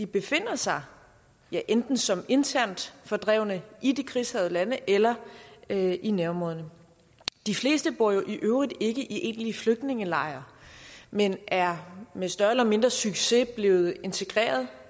befinder sig enten som internt fordrevne i de krigshærgede lande eller eller i nærområderne de fleste bor jo i øvrigt ikke i egentlige flygtningelejre men er med større eller mindre succes blevet integreret